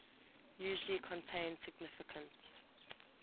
usually contain significant